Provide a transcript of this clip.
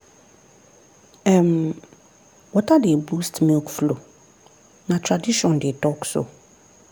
um water dey boost milk flow na tradition dey talk so.